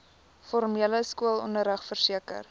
formele skoolonderrig verseker